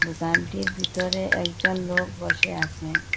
দোকানটির ভিতরে একজন লোক বসে আসে।